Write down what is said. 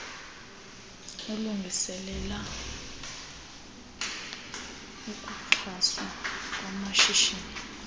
alungiselela ukuxhaswa kwamashishini